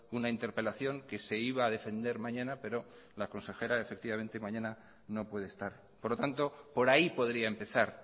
una interpelación que se iba a defender mañana pero la consejera mañana no puede estar por lo tanto por ahí podría empezar